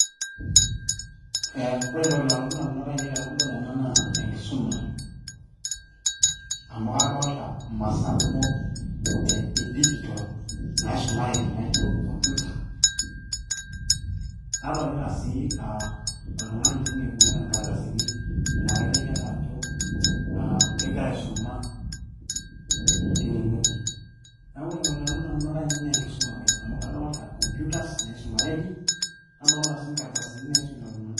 ee ore entoki nalotu indamunot ainei tenadol ena naa enkisuma amu kadolta imasaa kumok e digital naisumareki naijo computer nadolita sii oltung'ani tine oibung'ita inkardasini laa kaiteki ake ajo kegira aisuma tine ng'ueji neeku ore entoki nalotu indamunot ainei naa enkisuma ake amu kadolta computers naisumareki nadolita sii inkardasini naisumita iltung'anak.